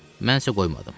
Mən isə qoymadım.